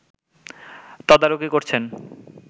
তদারকি করছেন